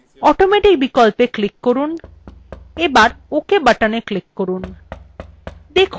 automatic বিকল্পে click করুন এবার ok button click করুন